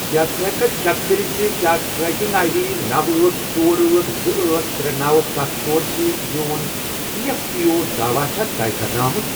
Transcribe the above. کیٛاہ ژٕ ہیٚککھا چیک کٔرتھ زِ کیٛاہ ٹریکنگ آٮٔۍ ڈی نوَ، أٹھ، ژور، أٹھ، زٕ، أٹھ، ترے، نوَ، ستھَ، ژۄر، سۭتۍ میٚون ایی ایف پی او داواہ چھا طے کَرنہٕ آمُت؟